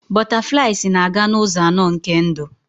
Butterflies na-aga n'ụzọ anọ nke ndụ.